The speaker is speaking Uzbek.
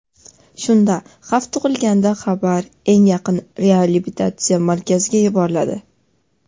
Shunda xavf tug‘ilganda xabar eng yaqin reabilitatsiya markaziga yuboriladi.